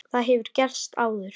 Það hefur gerst áður.